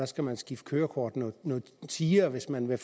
skal man skifte kørekort noget tiere hvis man vil